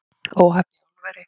Óhapp í álveri